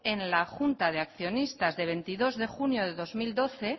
en la junta de accionistas de veintidós de junio de dos mil doce